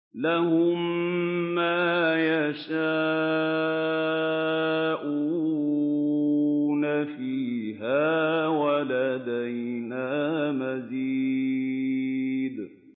لَهُم مَّا يَشَاءُونَ فِيهَا وَلَدَيْنَا مَزِيدٌ